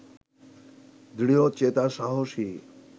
দৃঢ়চেতা সাহসী